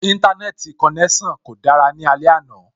Íńtánẹ́ẹ̀tì konẹ́sàn kò dára ní alẹ́ àná